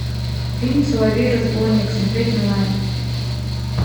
фильм соловей разбойник смотреть онлайн